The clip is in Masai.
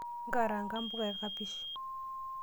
Karaanga mpuka ekapish .